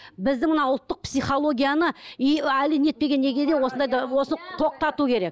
біздің мына ұлттық психологияны и әлі не етпеген неге де осындайды осы тоқтату керек